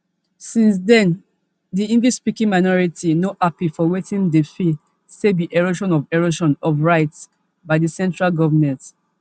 since den di englishspeaking minority no happy for wetin dem feel say be erosion of erosion of rights by di central government